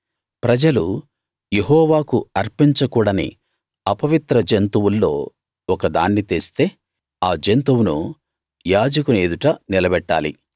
ప్రజలు యెహోవాకు అర్పించకూడని అపవిత్ర జంతువుల్లో ఒకదాన్ని తెస్తే ఆ జంతువును యాజకుని ఎదుట నిలబెట్టాలి